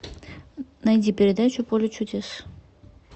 найди передачу поле чудес